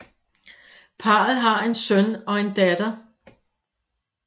Parret har en søn og en datter